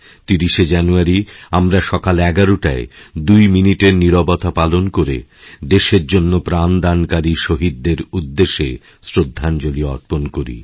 ৩০শেজানুয়ারি আমরা সকাল ১১টায় ২ মিনিটের মৌনতা পালন করে দেশের জন্য প্রাণদানকারীশহীদদের উদ্দেশে শ্রদ্ধাঞ্জলি অর্পণ করি